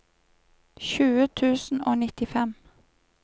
tjue tusen og nittifem